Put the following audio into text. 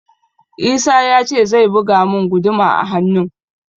Isah ya ce zai buga mun guduma a hannun